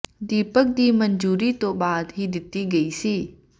ਦੀਪਕ ਦੀ ਮਨਜ਼ੂਰੀ ਤੋਂ ਬਾਅਦ ਹੀ ਦਿੱਤੀ ਗਈ ਸੀ